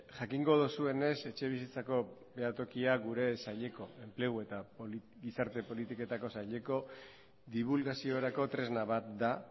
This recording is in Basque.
jakingo duzuenez etxebizitzako behatokia gure saileko enplegu eta gizarte politiketako saileko dibulgaziorako tresna bat da